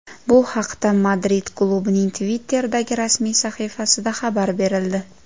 Bu haqda Madrid klubining Twitter’dagi rasmiy sahifasida xabar berildi .